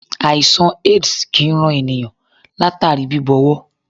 Àìsàn AIDS kì í ran ènìnyàn látàrí bíbọwọ́.